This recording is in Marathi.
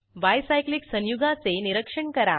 बाय सायक्लिक संयुगाचे निरीक्षण करा